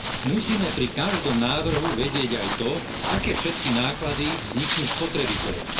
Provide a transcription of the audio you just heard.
Musíme pri každom návrhu vedieť aj to, aké všetky náklady vzniknú spotrebiteľovi.